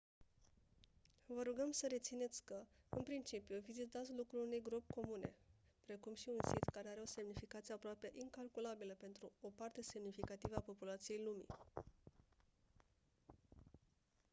vă rugăm să rețineți că în principiu vizitați locul unei gropi comune precum și un sit care are o semnificație aproape incalculabilă pentru o parte semnificativă a populației lumii